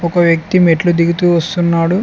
ఒక వ్యక్తి మెట్లు దిగుతూ వస్తున్నాడు.